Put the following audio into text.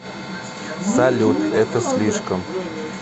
салют это слишком